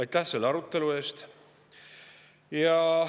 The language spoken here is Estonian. Aitäh selle arutelu eest!